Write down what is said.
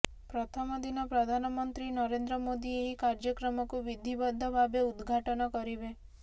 ପ୍ରଥମ ଦିନ ପ୍ରଧାନମନ୍ତ୍ରୀ ନରେନ୍ଦ୍ର ମୋଦି ଏହି କାର୍ଯ୍ୟକ୍ରମକୁ ବିଧିବଦ୍ଧ ଭାବେ ଉଦଘାଟନ କରିବେ